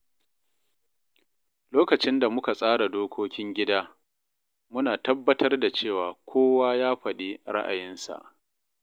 Lokacin da muka tsara dokokin gida, muna tabbatar da cewa kowa ya faɗi ra’ayinsa.